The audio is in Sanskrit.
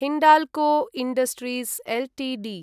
Hindalco industries Ltd